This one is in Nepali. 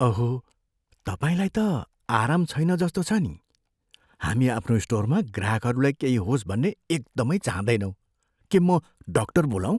अहो, तपाईँलाई त आराम छैन जस्तो छ नि। हामी आफ्नो स्टोरमा ग्राहकहरूलाई केही होस् भन्ने एकदमै चाहँदैनौँ। के म डाक्टर बोलाऊँ?